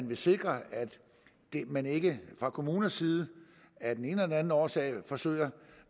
vil sikre at man ikke fra kommunernes side af den ene eller den anden årsag forsøger